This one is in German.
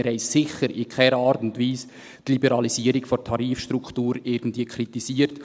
Wir haben sicher in keiner Art und Weise die Liberalisierung der Tarifstruktur irgendwie kritisiert.